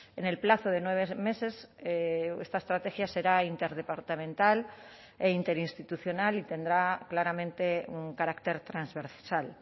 en el plazo de nueve meses esta estrategia será interdepartamental e interinstitucional y tendrá claramente un carácter transversal